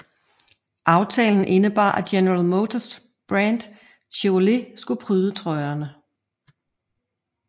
Aftalen indebar at General Motors brand Chevrolet skulle pryde trøjerne